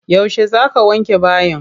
Yauce za ka wanke bayi?